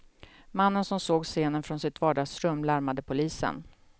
Mannen som såg scenen från sitt vardagsrum larmade polisen.